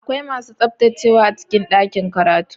Akwai masu tsaftacewa a cikin ɗakin karatu.